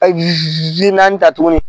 naani ta tuguni